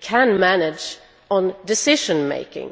can in fact manage on decision making.